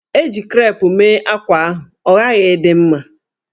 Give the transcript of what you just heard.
E ji krep mee ákwá ahụ, ọ ghaghị ịdị mma!